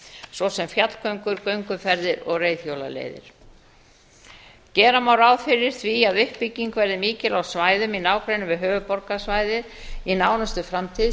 svo sem fjallgöngur gönguferðir og reiðhjólaleiðir gera má ráð fyrir því að uppbygging verði mikil á svæðum í nágrenni við höfuðborgarsvæðið í nánustu framtíð